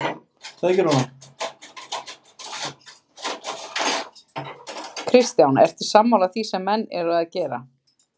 Kristján: Ertu sammála því sem menn eru að gera þar?